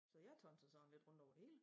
Så jeg tonser sådan ldit rundt over det hele